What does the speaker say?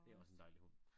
Det også en dejlig hund